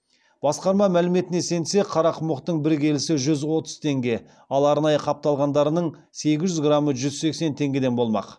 басқарма мәліметіне сенсек қарақұмықтың бір келісі жүз отыз теңге ал арнайы қапталғандарының сегіз жүз грамы жүз сексен теңгеден болмақ